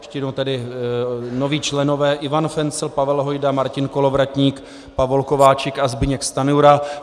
Ještě jednou tedy noví členové: Ivan Fencl, Pavel Hojda, Martin Kolovratník, Pavol Kováčik a Zbyněk Stanjura.